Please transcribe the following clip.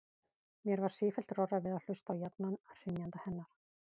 Mér varð sífellt rórra við að hlusta á jafna hrynjandi hennar.